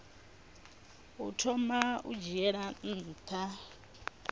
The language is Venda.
u thoma u dzhiela nha